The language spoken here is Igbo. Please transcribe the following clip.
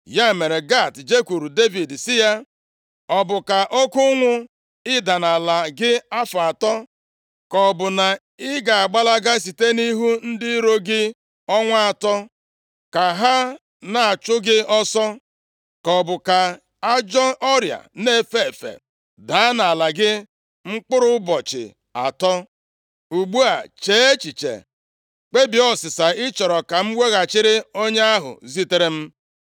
Ya mere, Gad jekwuuru Devid sị ya, “Ọ bụ ka oke ụnwụ ịda nʼala gị afọ atọ? Ka ọ bụ na ị ga-agbalaga site nʼihu ndị iro gị ọnwa atọ, ka ha na-achụ gị ọsọ? Ka ọ bụ ka ajọ ọrịa na-efe efe daa nʼala gị mkpụrụ ụbọchị atọ? Ugbu a, chee echiche, kpebie ọsịsa ị chọrọ ka m weghachiri onye ahụ zitere m.”